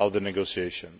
of the negotiations.